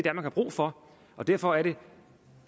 har brug for og derfor er det